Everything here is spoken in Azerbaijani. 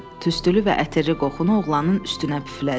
Tüstülü və ətirli qoxunu oğlanın üstünə püflədi.